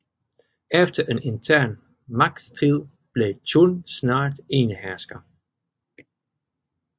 Efter en intern magtstrid blev Chun snart enehersker